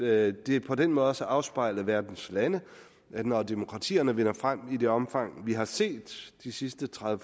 at det på den måde også afspejler verdens lande at når demokratierne vinder frem i det omfang vi har set de sidste tredive